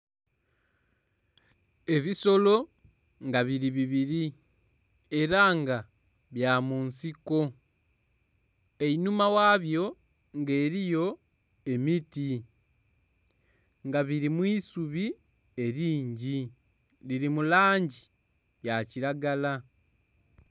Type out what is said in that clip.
Ebisolo nga biri bibiri era nga bya mu nsiko einhuma ghabyo nga eriyo emiti nga biri mu isubi eringi dhiri mu langi ya kiragala.